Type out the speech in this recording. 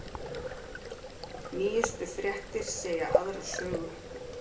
Nýjustu fréttir segja aðra sögu